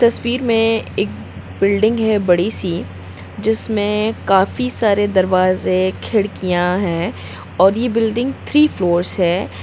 तस्वीर में एक बिल्डिंग है बड़ी सी जिसमें काफी सारे दरवाजे खिड़कियां हैं। और ये बिल्डिंग थ्री फ्लोर्स हैं।